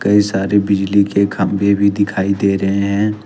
कई सारे बिजली के खंभे भी दिखाई दे रहे हैं।